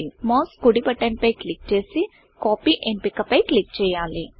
mouse కుడి button పై click చేసి Copyకాపీ ఎంపిక పై క్లిక్ చేయాలి